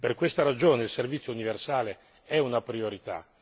Per questa ragione, il servizio universale è una priorità.